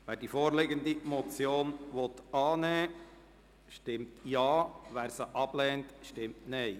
Wer die vorliegende Motion annehmen möchte, stimmt Ja, wer sie ablehnt, stimmt Nein.